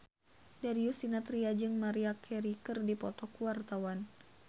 Darius Sinathrya jeung Maria Carey keur dipoto ku wartawan